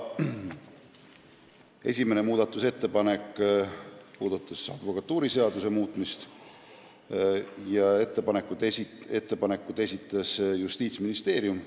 Esimene muudatusettepanek puudutas advokatuuriseaduse muutmist, selle esitas Justiitsministeerium.